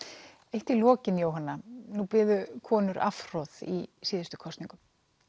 eitt í lokin Jóhanna nú biðu konur afhroð í síðustu kosningum